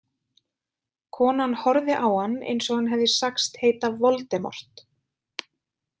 Konan horfði á hann eins og hann hefði sagst heita Voldemort.